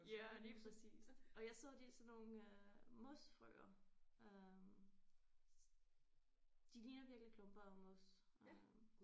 Ja lige præcist og jeg så de er sådan nogle øh mosfrøer øh de ligner virkelig klumper af mos øh